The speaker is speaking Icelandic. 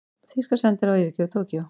Þýska sendiráðið yfirgefur Tókýó